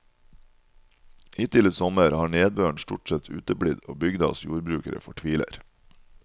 Hittil i sommer har nedbøren stort sett uteblitt og bygdas jordbrukere fortviler.